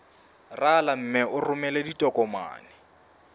rala mme o romele ditokomene